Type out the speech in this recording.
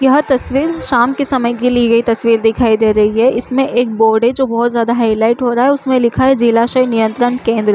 यह तस्वीर शाम के समय की ली गई तस्वीर दिखाई दे रही है इसमें एक बोर्ड है जो बहोत ज्यादा हाईलाइट हो रहा है उसमे लिखा हैं जिला शय नियंत्रण केंद्र--